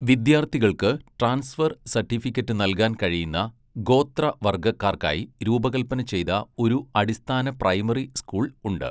വിദ്യാർത്ഥികൾക്ക് transfer certificate നൽകാൻ കഴിയുന്ന, ഗോത്രവർഗക്കാർക്കായി രൂപകൽപ്പന ചെയ്ത ഒരു അടിസ്ഥാന പ്രൈമറി സ്കൂൾ ഉണ്ട്.